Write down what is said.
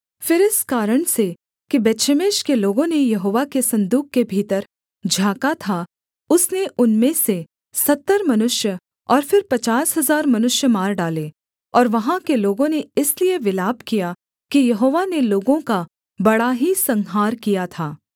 फिर इस कारण से कि बेतशेमेश के लोगों ने यहोवा के सन्दूक के भीतर झाँका था उसने उनमें से सत्तर मनुष्य और फिर पचास हजार मनुष्य मार डाले और वहाँ के लोगों ने इसलिए विलाप किया कि यहोवा ने लोगों का बड़ा ही संहार किया था